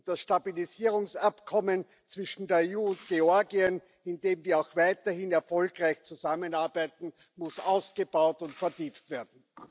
Und das Stabilisierungsabkommen zwischen der EU und Georgien, in dem wir auch weiterhin erfolgreich zusammenarbeiten, muss ausgebaut und vertieft werden.